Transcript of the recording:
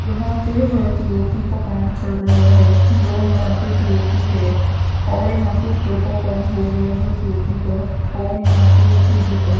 यहां पे है पी_ओ_पी का काम चल रहा है जो यहां पे पी_ओ_पी है और यहां पे ऊपर का काम हो गया है पी_ओ_पी का और यहां पे टी_वी का।